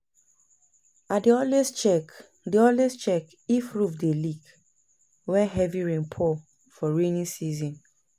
I dey always check dey always check if roof dey leak wen heavy rain pour for rainy season